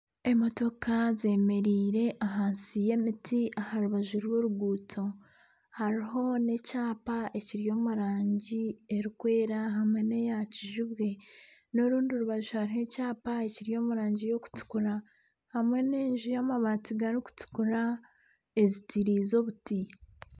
Emotoka zemereire ahansi y'emiti aha rubaju rw'oruguuto, hariho nana ekyapa ekiri omurangi erikwera hamwe neyakizibwe n'orundi rubaju hariho ekyapa ekiri omurangi eyokutukura hamwe nana enju y'amabaati garikutukura ezitiriize obuti.